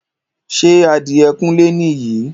Ṣé adìẹ kúnlé ni yìí?